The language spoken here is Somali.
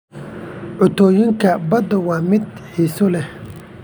Cuntooyinka badda waa mid xiiso leh.